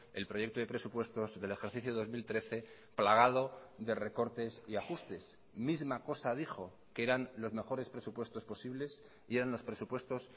el proyecto de presupuestos del ejercicio dos mil trece plagado de recortes y ajustes misma cosa dijo que eran los mejores presupuestos posibles y eran los presupuestos